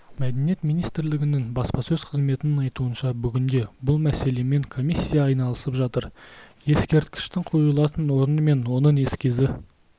мәдениет министрлігінің баспасөз қызметінің айтуынша бүгінде бұл мәселемен комиссия айналысып жатыр ескерткіштің қойылатын орны мен оның эскизі